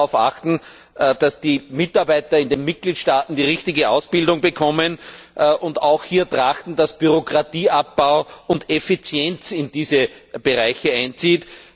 Wir sollten darauf achten, dass die Mitarbeiter in den Mitgliedstaaten die richtige Ausbildung bekommen, und auch hier danach trachten, dass Bürokratieabbau und Effizienz in diese Bereiche einziehen.